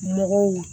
Mɔgɔw